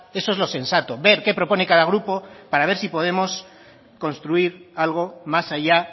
eso es lo sensato ver qué propone cada grupo para ver si podemos construir algo más allá